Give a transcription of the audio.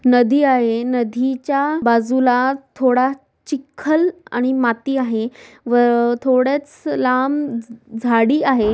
नदी आहे नदी च्या बाजूला थोडा चिख्खल आणि माती आहे व अं थोडच लांब झ झाडी आहे.